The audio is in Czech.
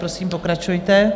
Prosím, pokračujte.